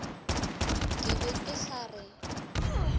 ke be ke sa re